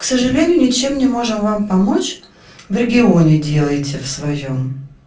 к сожалению ничем не можем вам помочь в регионе делаете в своём